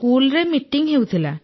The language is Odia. ସ୍କୁଲରେ ମିଟିଂ ହେଉଥିଲା